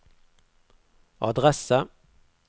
adresse